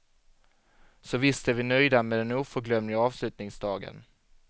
Så visst är vi nöjda med den oförglömliga avslutningsdagen.